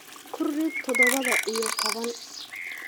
Ku rid toddoba iyo toban.